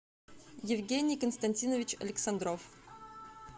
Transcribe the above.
евгений константинович александров